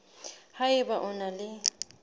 ha eba o na le